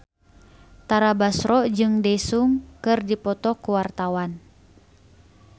Tara Basro jeung Daesung keur dipoto ku wartawan